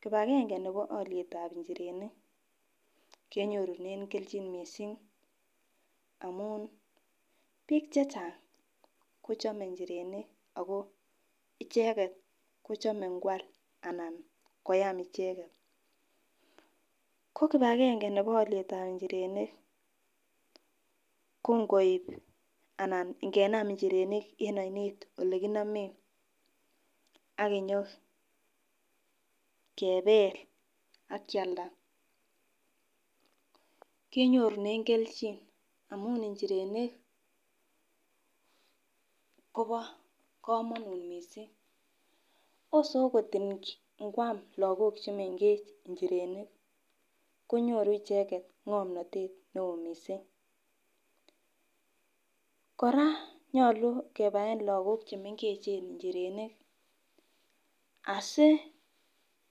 Kipagenge nebo olietab inchirenik kenyorunen keljin missing amun bik chechang kochome inchirenik ako icheket kochome ikwal anan koyam icheken, ko kipagenge nebo olietab inchirenik ko nkoib anan ingenem inchirenik en oinet olekinimen akinyo kebel akialda kenyorunen keljin amun inchirenik Kobo komonut missing ose okot ikwam lokok chemengech inchirenik konyoru icheket ngomnotet neo missing. Koraa nyolu kebaen lokok chemengechen inchirenik asi